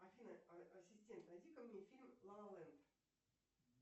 афина ассистент найди ка мне фильм ла ла ленд